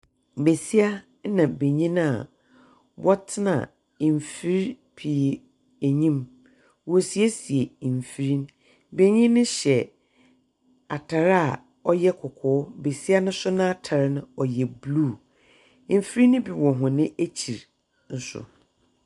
Besia na benyin a wɔtsena mfir pii enyim. Wɔresiesie mfir no. benyin no hyɛ atar a ɔyɛ kɔkɔɔ, besia no nso n'atar no ɔyɛ blue. Efir no bi wɔ hɔn ekyir nso.